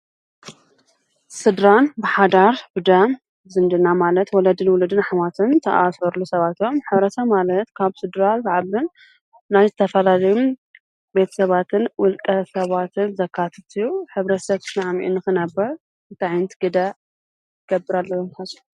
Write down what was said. ስድራን ብሓዳር ብደም ዝምድና ማለት ወለድና ወለድና ኣሕዋትን ዝተኣሳሰሩ ሰባት እዮም። ሕብረተሰብ ማለት ካብ ስድራ ዝዓብን ናይ ዝተፈላለዩ ቤተሰባትን ውልቀ ሰባትን ዘካትት እዩ። ሕብረተሰብ ተስማሚዑ ንኽነብር እንታይ ዓይነት ግደ ክገብር ኣለዎ ኢልኩም ትሓስቡ?